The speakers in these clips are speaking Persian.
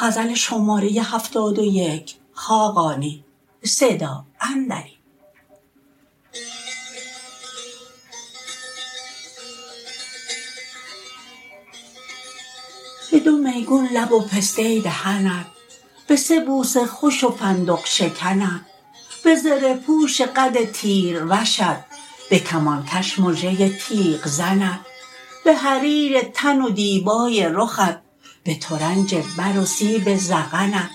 به دو میگون لب و پسته دهنت به سه بوس خوش و فندق شکنت به زره پوش قد تیروشت به کمان کش مژه تیغ زنت به حریر تن و دیبای رخت به ترنج بر و سیب ذقنت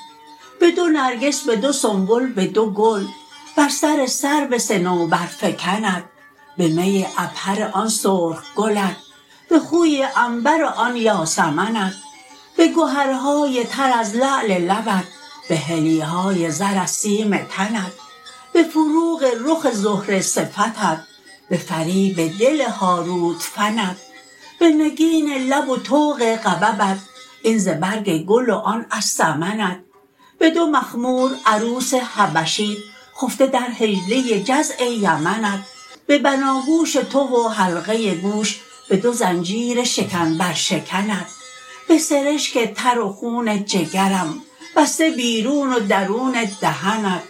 به دو نرگس به دو سنبل به دو گل بر سر سرو صنوبرفکنت به می عبهر آن سرخ گلت به خوی عنبر آن یاسمنت به گهرهای تر از لعل لبت به حلی های زر از سیم تنت به فروغ رخ زهره صفتت به فریب دل هاروت فنت به نگین لب و طوق غببت این ز برگ گل و آن از سمنت به دو مخمور عروس حبشیت خفته در حجله جزع یمنت به بناگوش تو و حلقه گوش به دو زنجیر شکن بر شکنت به سرشک تر و خون جگرم بسته بیرون و درون دهنت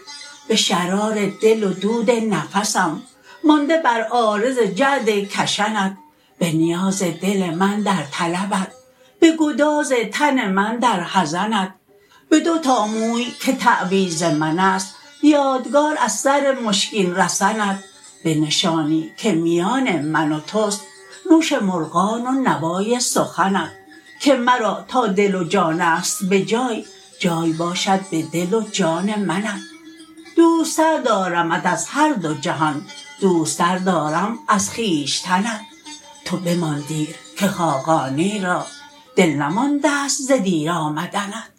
به شرار دل و دود نفسم مانده بر عارض جعد کشنت به نیاز دل من در طلبت به گداز تن من در حزنت به دو تا موی که تعویذ من است یادگار از سر مشکین رسنت به نشانی که میان من و توست نوش مرغان و نوای سخنت که مرا تا دل و جان است به جای جای باشد به دل و جان منت دوست تر دارمت از هر دو جهان دوست تر دارم از خویشتنت تو بمان دیر که خاقانی را دل نمانده است ز دیر آمدنت